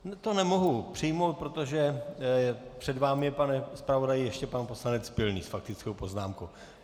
To nemohu přijmout, protože před vámi je, pane zpravodaji, ještě pan poslanec Pilný s faktickou poznámkou.